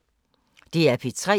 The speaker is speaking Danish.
DR P3